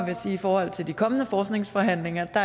jeg sige i forhold til de kommende forskningsforhandlinger at